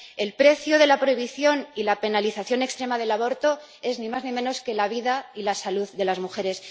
El precio de la prohibición y la penalización extrema del aborto es ni más ni menos que la vida y la salud de las mujeres.